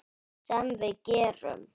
Sem við gerum.